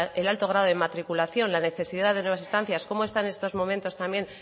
el alto grado de matriculación la necesidad de nuevas estancias cómo está en estos momentos también